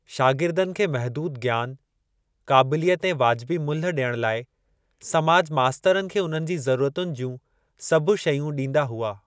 शागिर्दनि खे महदूद ज्ञान, क़ाबिलियत ऐं वाजिबी मुल्ह डि॒यण लाइ समाज मास्तरनि खे उन्हनि जी ज़रूरतुनि जूं सभु शयूं ॾींदा हुआ।